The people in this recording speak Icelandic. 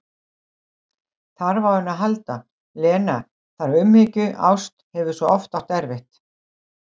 Þarf á henni að halda, Lena, þarf umhyggju, ást, hefur svo oft átt erfitt.